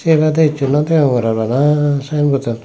eyan olode hichu no degongorar bana sign bottan.